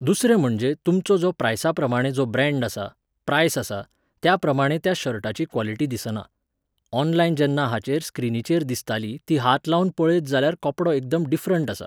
दुसरें म्हणजे तुमचो जो प्रायसाप्रमाणें जो ब्रँड आसा, प्रायस आसा, त्याप्रमाणें त्या शर्टाची क्वालिटी दिसना. ऑनलायन जेन्ना हाचेर, स्क्रिनीचेर दिसताली ती हात लावून पळयत जाल्यार कपडो एकदम डिफरंट आसा.